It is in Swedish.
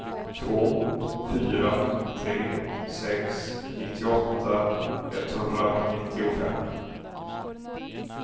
två fyra tre sex nittioåtta etthundranittiofem